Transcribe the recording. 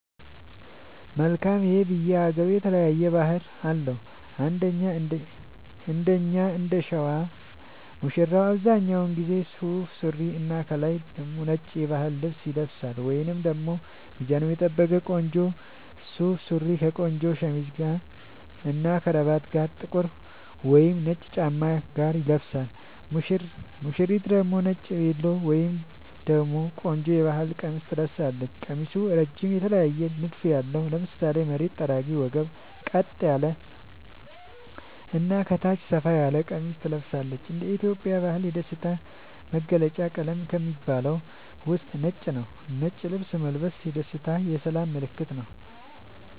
መልካም ይሄ በየ ሃገሩ የተለያየ ባህል አለው እንደኛ እንደሸዋ ሙሽራው አብዛኛውን ጊዜ ሱፍ ሱሪና ከላይ ደግሞ ነጭ የባህል ልብስ ይለብሳልወይንም ደግሞ ሚዛኑን የጠበቀ ቆንጆ ሱፍ ሱሪ ከቆንጆ ሸሚዝ እና ከረባት ጋር ጥቁር ወይም ነጭ ጫማ ጋር ይለብሳል ሙሽሪት ደግሞ ነጭ ቬሎ ወይም ደግሞ ቆንጆ የባህል ቀሚስ ትለብሳለች ቀሚሱ እረጅም የተለየ ንድፍ ያለው ( ለምሳሌ መሬት ጠራጊ ወገብ ቀጥ ያለ እና ከታች ሰፋ ያለ ቀሚስ ትለብሳለች )እንደ ኢትዮጵያ ባህል የደስታ መገልውጫ ቀለም ከሚባሉት ውስጥ ነጭ ነዉ ነጭ ልብስ መልበስ የደስታ የሰላም ምልክትም ነዉ